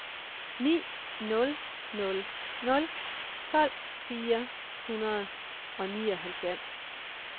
ni nul nul nul tolv fire hundrede og nioghalvfems